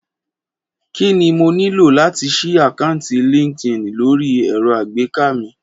Kí ni mo nílò láti ṣí àkáǹtì LinkedIn lórí ẹ̀rọ alágbèéká mi?